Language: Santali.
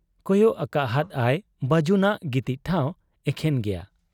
ᱠᱚᱭᱚᱜ ᱟᱠᱟᱦᱟᱫ ᱟᱭ ᱵᱟᱹᱡᱩᱱᱟᱜ ᱜᱤᱛᱤᱡ ᱴᱷᱟᱶ, ᱮᱠᱷᱮᱱ ᱜᱮᱭᱟ ᱾